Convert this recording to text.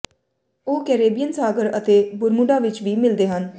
ਉਹ ਕੈਰੇਬੀਅਨ ਸਾਗਰ ਅਤੇ ਬਰਮੁਡਾ ਵਿੱਚ ਵੀ ਮਿਲਦੇ ਹਨ